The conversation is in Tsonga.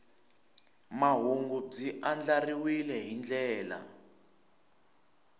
mahungu byi andlariwile hi ndlela